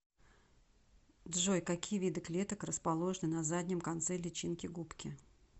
джой какие виды клеток расположены на заднем конце личинки губки